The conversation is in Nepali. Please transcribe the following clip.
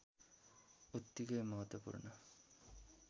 उत्तिकै महत्त्वपूर्ण